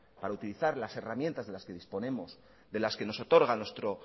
para utilizar las herramientas de las que disponemos de las que nos otorga nuestro